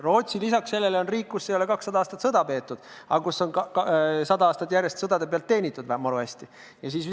Rootsi lisaks sellele on riik, kus ei ole kakssada aastat sõda peetud, aga kus on sada aastat järjest sõdade pealt maru hästi teenitud.